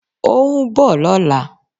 Óún bọ̀ lọ́lá